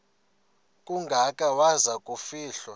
kangaka waza kufihlwa